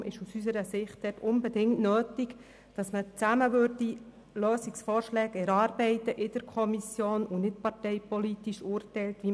Deshalb ist es aus unserer Sicht unbedingt nötig, dass in der Kommission gemeinsam Lösungsvorschläge erarbeitet werden und man nicht parteipolitisch urteilt.